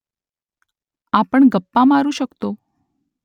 आपण गप्पा मारू शकतो